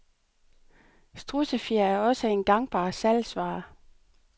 Strudsefjer er også en gangbar salgsvare.